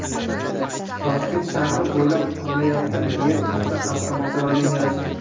Toshkent shahri bo‘ylab qurilayotgan yer usti halqa metro liniyasi.